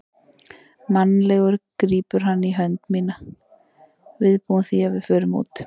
Mannalegur grípur hann í hönd mína, viðbúinn því að við förum út.